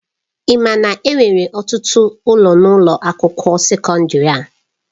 Ị ma na enwere ọtụtụ ụlọ n'ụlọ akwụkwọ sekọndrị a?